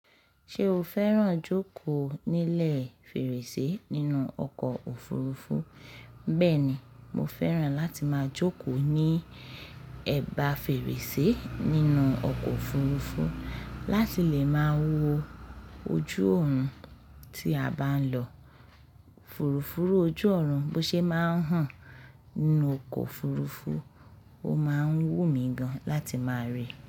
Ṣé o fẹ́ràn jókòó nílẹ̀ fèrèsé nínú ọkọ̀ òfurufú? Bẹ́ẹ̀ni, mo fẹ́ràn láti máa jókòó ní ẹ̀bá fèrèsé nínú ọkọ̀ òfurufú láti lè máa wo ojú ọ̀run tí a bá ń lọ. Fùrùfúru ojú ọ̀run bó ṣe máa ń hàn nínú ọkọ̀ òfurufú, ó máa ń wù mí gan láti máa ríi.